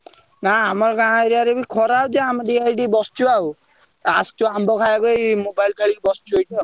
ନା ଆମ ଗାଁ area ରେ ବି ଖରା ହଉଛି ଆମେ ଟିକେ ଏଇଠି ବସଛୁ ଆଉ ଆସଛୁ ଆମ୍ବ ଖାଇବା ପାଇଁ mobile ଫୋବାଇଲ ଖେଳି ବସଛୁ ଏଇଠି ଆଉ।